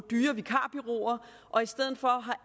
dyre vikarbureauer og i stedet for har